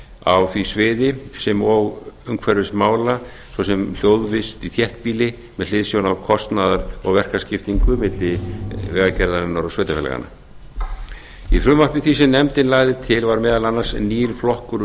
á því sviði sem og umhverfismála svo sem hljóðvist í þéttbýli með hliðsjón af kostnaðar og verkaskiptingu milli vegagerðarinnar og sveitarfélaganna í frumvarpi því sem nefndin lagði til var meðal annars nýr flokkur